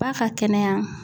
Ba ka kɛnɛya.